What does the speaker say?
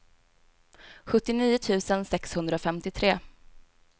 sjuttionio tusen sexhundrafemtiotre